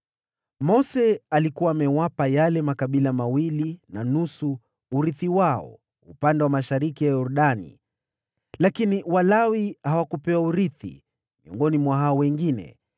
Mose alikuwa amewapa yale makabila mawili na nusu urithi wao upande wa mashariki mwa Yordani, lakini Walawi hawakupewa urithi miongoni mwa hao wengine,